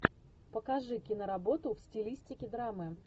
покажи киноработу в стилистике драмы